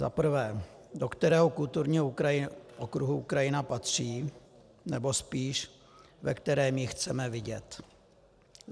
Za prvé: Do kterého kulturního okruhu Ukrajina patří, nebo spíš ve kterém ji chceme vidět?